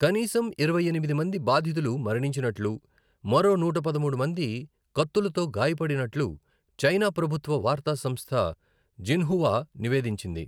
కనీసం ఇరవై ఎనిమిది మంది బాధితులు మరణింనట్లు, మరో నూట పదమూడు మంది కత్తులతో గాయపడినట్లు చైనా ప్రభుత్వ వార్తా సంస్థ జిన్హువా నివేదించింది.